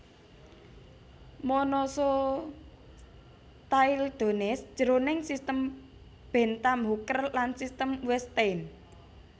Monocotyledones jroning sistem Bentham Hooker lan sistem Wettstein